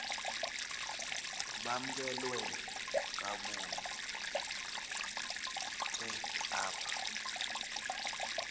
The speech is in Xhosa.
bamkelwe kakuhte apha